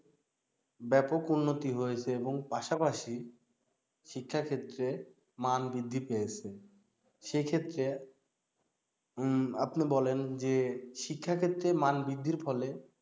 ব্যাপক উন্নতি হয়েছে এবং পাশাপাশি শিক্ষাক্ষেত্রে মান বৃদ্ধি পেয়েছে সেক্ষেত্রে উম আপনি বলেন যে শিক্ষা ক্ষেত্রে মান বৃদ্ধির ফলে